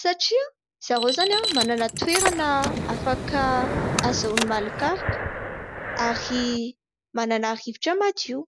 satria zareo izany manana toerana afaka ahazoana malokaloka ary manana rivotra madio.